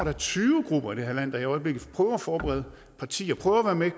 er tyve grupper i det her land der i øjeblikket prøver at forberede partier prøver at komme